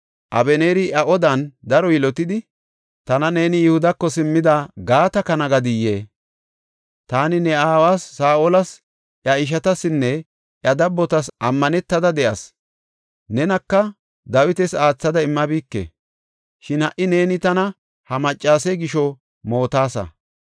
Abeneeri iya odan daro yilotidi, “Tana neeni Yihudako simmida gaata kana gadiyee? Taani ne aawa Saa7olas, iya ishatasinne iya dabbotas ammanetada de7as; nenaka Dawitas aathada immabike. Shin ha77i neeni tana ha maccase gisho mootaasa!